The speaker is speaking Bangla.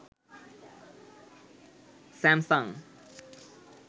স্যামসাং